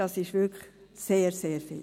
Das ist wirklich sehr, sehr viel.